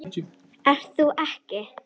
Ert þú ekki